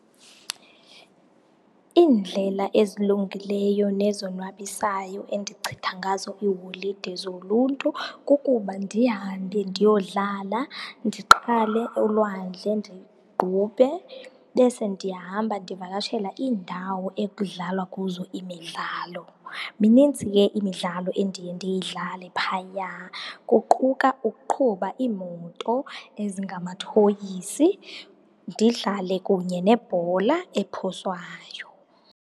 Iindlela ezilungileyo nezonwabisayo endichitha ngazo iiholide zoluntu kukuba ndihambe ndiyodlala, ndiqale elwandle ndiqubhe. Bese ndiyahamba ndivakashela iindawo ekudlalwa kuzo imidlalo. Mininzi ke imidlalo endiye ndiyidlale phaya, kuquka ukuqhuba iimoto ezingamathoyisi, ndidlale kunye nebhola ephoswayo.